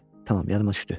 Tamam, yadıma düşdü.